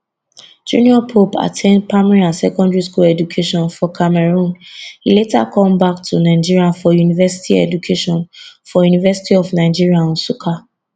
junior pope at ten d primary and secondary school education for cameroon e later come back to nigeria for university education for university of nigeria nsukka